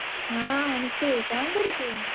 ହଁ ରୁପୁ କଣ କରୁଚୁ?